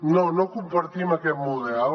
no no compartim aquest model